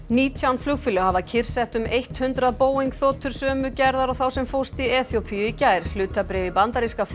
nítján flugfélög hafa kyrrsett um eitt hundrað Boeing þotur sömu gerðar og þá sem fórst í Eþíópíu í gær hlutabréf í bandaríska